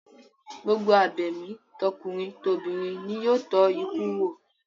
Gbogbo abẹ̀mí tọkùnrin tobìnrin ni yóò tọ́ ikú wò